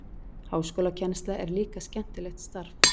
Háskólakennsla er líka skemmtilegt starf.